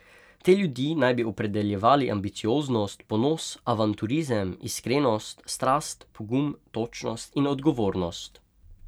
Te ljudi naj bi opredeljevali ambicioznost, ponos, avanturizem, iskrenost, strast, pogum, točnost in odgovornost.